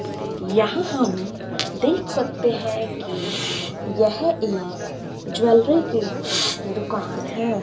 यहां हम देख सकते हैं कि यह एक ज्वैलरी की दुकान है।